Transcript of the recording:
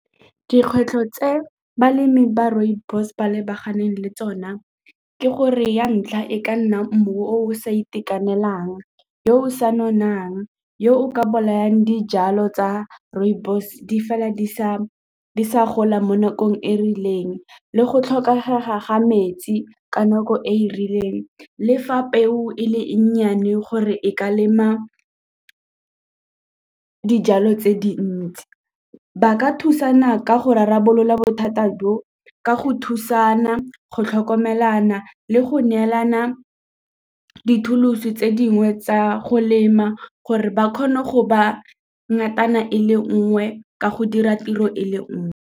Dikgwetlho tse balemi ba rooibos ba lebaganeng le tsona ke gore ya ntlha e ka nna mmu o o sa itekanelang, yo o sa nonang, yo o ka bolayang dijalo tsa rooibos di fela di sa gola mo nakong e e rileng le go tlhokega ga metsi ka nako e e rileng lefa peo e le e nnyane gore e ka lema dijalo tse dintsi. Ba ka thusana ka go rarabolola bothata jo ka go thusana go tlhokomelana le go neelana dithuloso tse dingwe tsa go lema gore ba kgone go ba ngatana e le nngwe ka go dira tiro e le nngwe.